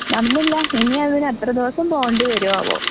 നടന്നില്ല ഇനി അതിന് എത്ര ദിവസം പോവേണ്ടി വരുവോ ആവോ?